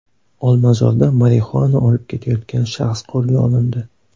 Olmazorda marixuana olib ketayotgan shaxs qo‘lga olindi.